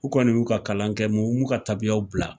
U kɔni y'u ka kalan kɛ m'u ka tabiyaw bila.